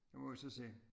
Nu må vi så se